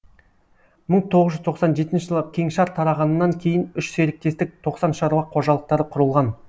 мың тоғыз жүз тоқсан жетінші жылы кеңшар тарағаннан кейін үш серіктестік тоқсан шаруа қожалықтары құрылған